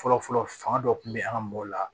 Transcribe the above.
Fɔlɔ fɔlɔ fanga dɔ kun be an ga mɔgɔw la